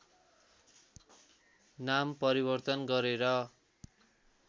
नाम परिवर्तन गरेर